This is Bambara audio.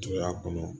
Jɔ y'a kɔnɔ